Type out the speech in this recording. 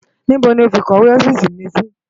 Nibó ló fi ikòwé òfisi mi si?